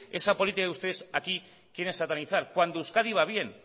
esa política que ustedes aquí quieren satanizar cuando euskadi va bien